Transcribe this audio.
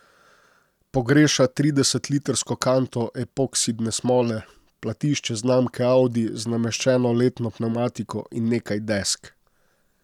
Pogreša tridesetlitrsko kanto epoksidne smole, platišče znamke Audi z nameščeno letno pnevmatiko in nekaj desk.